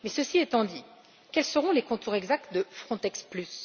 Mais ceci étant dit, quels seront les contours exacts de Frontex Plus?